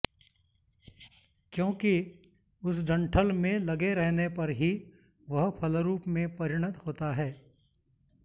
क्योंकि उस डण्ठल में लगे रहने पर ही वह फलरूप में परिणत होता है